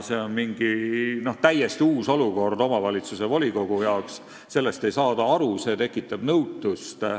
See on mingi täiesti uus olukord omavalitsuse volikogus, sellest ei saada aru, see tekitab nõutust.